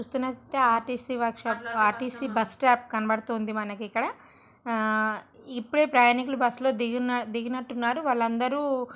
RTC workshop RTC bus stop కనబడుతుంది మనకు ఇక్కడ. ఆ ఇప్పుడే ప్రయాణికులు బస్సు లో దిగియు దిగినట్టున్నారు వాళ్లందరూ--